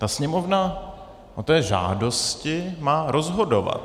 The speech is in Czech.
Ta Sněmovna o té žádosti má rozhodovat.